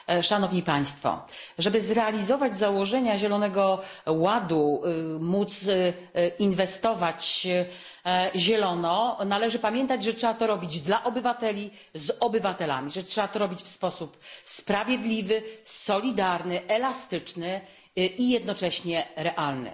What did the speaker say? Aby realizować założenia Zielonego Ładu, aby inwestować zielono, należy pamiętać, że trzeba to robić dla obywateli i z obywatelami, że trzeba to robić w sposób sprawiedliwy, solidarny, elastyczny i jednocześnie realny.